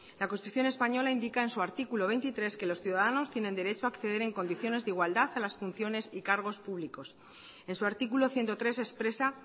la constitución española indica en su artículo veintitrés que los ciudadanos tienen derecho a acceder en condiciones de igualdad a las funciones y cargos públicos en su artículo ciento tres expresa